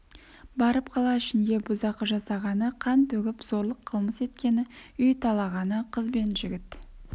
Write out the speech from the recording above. барып қала ішінде бұзақы жасағаны қан төгіп зорлық қылмыс еткені үй талағаны қыз бен жігіт